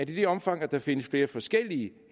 i det omfang der findes flere forskellige